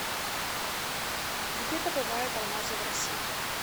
где добывают алмазы в россии